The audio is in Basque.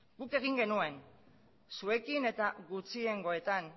guk egin genuen zuekin eta gutxiengoetan